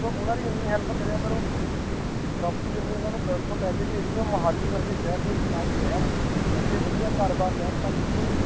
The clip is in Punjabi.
ਤੇ ਉਹਨਾਂ ਦੀ ਇੰਨੀ help ਕਰਿਆ ਕਰੋ ਕਿ property ਇੰਨੀ ਉਹਨਾਂ ਨੂੰ ਉੱਥੋਂ ਪੈਸੇ ਭੇਜ ਕੇ ਉਹ ਮੁਹਾਲੀ ਵਰਗੇ ਸ਼ਹਿਰ ਦੇ ਵਿੱਚ ਆ ਕੇ ਰਹਿਣ, ਇੱਥੇ ਵਧੀਆ ਘਰ ਬਾਰ ਲੈਣ ਤਾਂ ਕਿ ਕੋਈ